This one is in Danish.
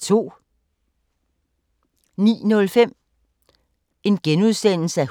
09:05: